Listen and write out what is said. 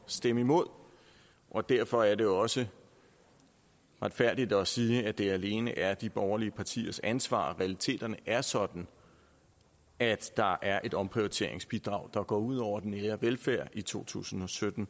stemme imod og derfor er det også retfærdigt at sige at det alene er de borgerlige partiers ansvar realiteterne er sådan at der er et omprioriteringsbidrag der går ud over den nære velfærd i to tusind og sytten